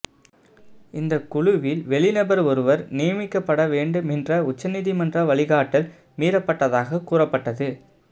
இந்தக் குழுவில் வெளிநபர் ஒருவர் நியமிக்கப்பட வேண்டும் என்ற உச்சநீதிமன்ற வழிகாட்டல் மீறப்பட்டதாக கூறப்பட்டது